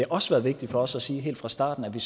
også været vigtigt for os at sige helt fra starten at vi